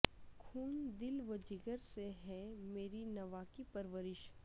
خون دل و جگر سے ہے میری نواکی پر ورش